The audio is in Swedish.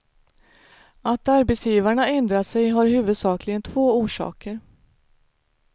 Att arbetsgivarna ändrat sig har huvudsakligen två orsaker.